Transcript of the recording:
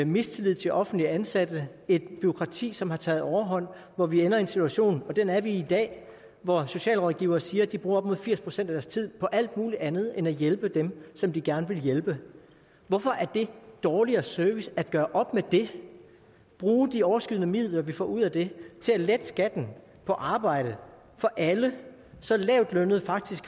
mistillid til offentligt ansatte et bureaukrati som har taget overhånd hvor vi ender i en situation og den er vi i i dag hvor socialrådgivere siger at de bruger op mod firs procent af deres tid på alt mulig andet end at hjælpe dem som de gerne vil hjælpe hvorfor er det dårligere service at gøre op med det og bruge de overskydende midler vi får ud af det til at lette skatten på arbejde for alle så lavtlønnede faktisk